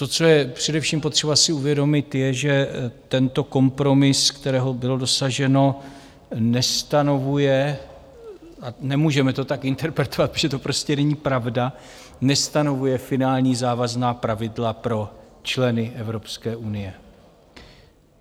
To, co je především potřeba si uvědomit, je, že tento kompromis, kterého bylo dosaženo, nestanovuje - a nemůžeme to tak interpretovat, protože to prostě není pravda - nestanovuje finální závazná pravidla pro členy Evropské unie.